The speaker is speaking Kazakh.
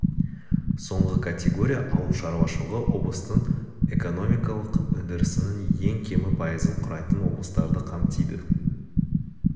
соңғы категория ауыл шарушылығы облыстың экономикалық өндірісінің ең кемі пайызын құрайтын облыстарды қамтиды